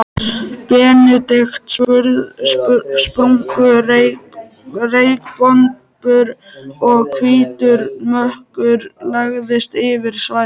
Benedikt, sprungu reykbombur og hvítur mökkur lagðist yfir svæðið.